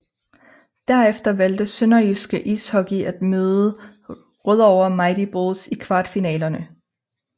Derefter valgte SønderjyskE Ishockey at møde Rødovre Mighty Bulls i kvartfinalerne